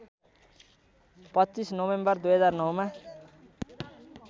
२५ November २००९ मा